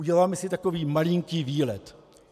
Uděláme si takový malinký výlet.